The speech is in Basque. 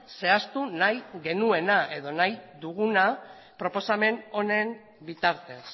zehaztu nahi genuena edo nahi duguna proposamen honen bitartez